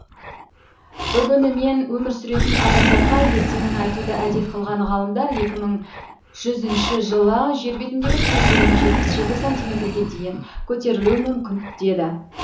бүгінімен өмір сүретін адамзатқа ертеңін айтуды әдет қылған ғалымдар екі мың жүзінші жылы жер бетіндегі су көлемі жетпіс жеті сантиметрге дейін көтерілуі мүмкін деді